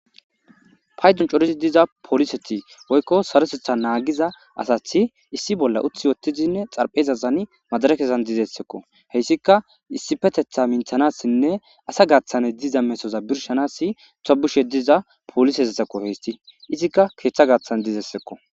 Hay dun corizi diza poliseti woykko sarosetha naagiza asathi issi bolla uthi yottizinne xarphezasani majara kessan dizessekko heyssika issifetetha minthanassinne asa gaaththane diza mesoza birshanasi tobushe diza poolisesessekko heysti izikka keeththa gaathan dizessekko.